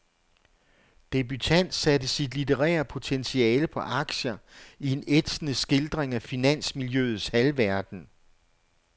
Debutant satte sit litterære potentiale på aktier i en ætsende skildring af finansmiljøets halvverden.